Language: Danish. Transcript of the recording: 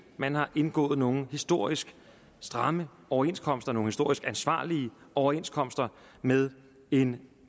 man har indgået nogle historisk stramme overenskomster nogle historisk ansvarlige overenskomster med en